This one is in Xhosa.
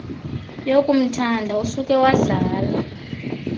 yokumthanda usuke wadlala